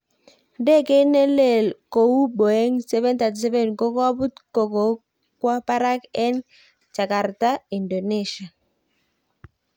Ndegeit ne lee kou Boeing 737 kokoput ko kokokwa parak en jakarta, Indonesia.